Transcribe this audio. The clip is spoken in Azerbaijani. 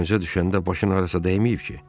Dənizə düşəndə başın harasa dəyməyib ki?